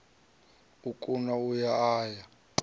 o kuna a ya a